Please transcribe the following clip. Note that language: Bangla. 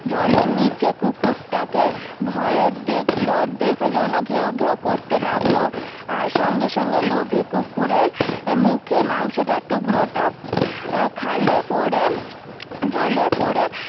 জলের নিচে কুকুরটাকে ভয়ে দেখলো দেখে যেনো ঘেউ ঘেউ করতে লাগলো আর সঙ্গে সঙ্গে লোভী কুকুরের মুখের মাংসটার টুকরোটা আহ খালে পরে জলে পরে